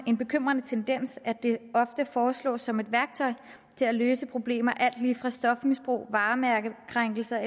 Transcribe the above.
en bekymrende tendens at det ofte foreslås som et værktøj til at løse problemer med alt lige fra stofmisbrug og varemærkekrænkelse